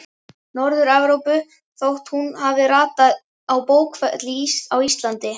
Norður-Evrópu þótt hún hafi ratað á bókfell á Íslandi.